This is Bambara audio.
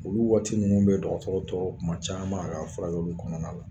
Olu waati minnu bɛ dɔgɔtɔrɔtɔ tɔɔrɔ tuma caman a ka furakɛliw kɔnɔna na